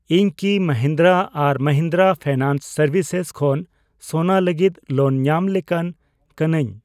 ᱤᱧ ᱠᱤ ᱢᱟᱦᱤᱱᱫᱨᱟ ᱟᱨ ᱢᱟᱦᱤᱱᱫᱨᱟ ᱯᱷᱤᱱᱟᱱᱥ ᱥᱮᱨᱵᱷᱤᱥᱮᱥ ᱠᱷᱚᱱ ᱥᱳᱱᱟ ᱞᱟᱹᱜᱤᱛ ᱞᱳᱱ ᱧᱟᱢ ᱞᱮᱠᱟᱱ ᱠᱟᱹᱱᱟᱹᱧ ?